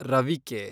ರವಿಕೆ